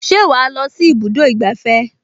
Ṣé wàá lọ sí ibùdó ìgbafẹ́?